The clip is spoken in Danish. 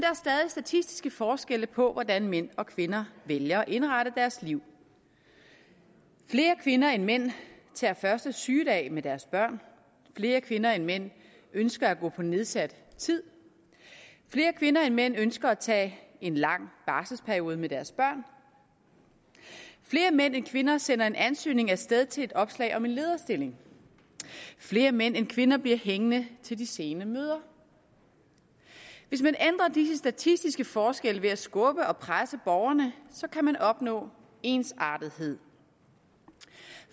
statistiske forskelle på hvordan mænd og kvinder vælger at indrette deres liv flere kvinder end mænd tager første sygedag med deres børn flere kvinder end mænd ønsker at gå på nedsat tid flere kvinder end mænd ønsker at tage en lang barselsperiode med deres børn flere mænd end kvinder sender en ansøgning af sted til et opslag om en lederstilling flere mænd end kvinder bliver hængende til de sene møder hvis man ændrer disse statistiske forskelle ved at skubbe og presse borgerne kan man opnå ensartethed